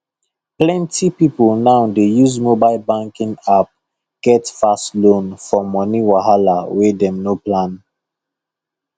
plenty people now dey use mobile banking app get fast loan for money wahala wey dem no plan